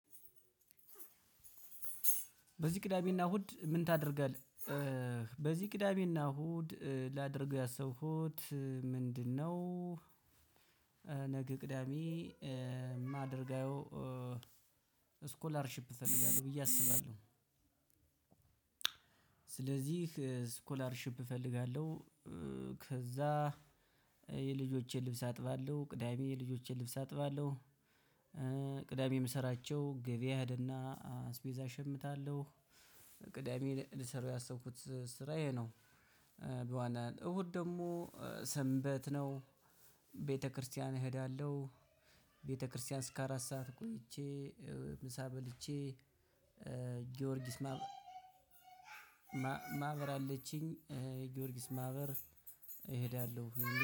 በዚህ ቅዳሜና እሁድ ምን ታደርጋለህ በዚህ ቅዳሜና እሁድ ላደርገው ያሰብኩት ምንድነው? ነገ ቅዳሜ ማደርገው ስኮላር ሺፕ እፈልጋለው ብዬ አስባለሁ። ስለዚህ ስኮላርሺፕ እፈልጋለሁ። ከዛ የልጆቼን ልብስ አጥባለሁ ቅዳሜ የልጆቼን ልብስ አጥባለሁ። ቅዳሜ የምሰራቸው ገበያ እሄደና አስቤዛ እሸምታለሁ። ቅዳሜ ልሰራው ያሰብኩት ስራ ይሄ ነው። በዋና እሁድ ደግሞ ሰንበት ነው ቤተክርስቲያን እሄዳለሁ። ቤተክርስቲያን እስከ አራት ሰዓት ቆይቼ ምሳ በልቼ። ጊዮርጊስ ማብ ማማህበር አለችኝ። ጊዮርጊስ ማህበር እሄዳለሁ